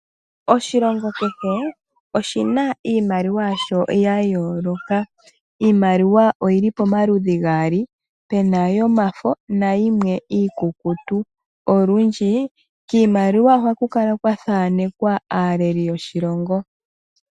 Oshilongo kehe oshina iimaliwa yasho ya yooloka ,iimaliwa oyili pamaludhi gaali pena yomafo yimwe iikukutu olundji kiimaliwa ohaku kala kwa thaanekwa aaleli yoshilongo